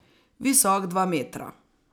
Visok dva metra.